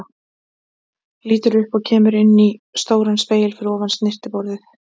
Lítur upp og kemur inn í stóran spegil fyrir ofan snyrtiborð.